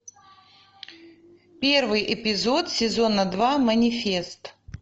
первый эпизод сезона два манифест